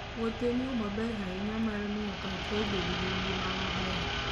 Wuoth en yo maber ahinya mar miyo pachwa obed gi ngima maber.